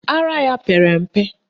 Ara ya pere mpe.